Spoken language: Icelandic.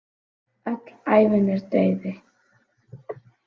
Öll ævin er dauði.